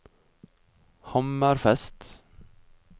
Hammerfest